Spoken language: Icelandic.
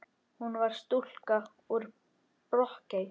Hvar var stúlkan úr Brokey?